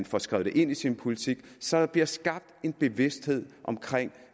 får skrevet det ind i sin politik så der bliver skabt en bevidsthed omkring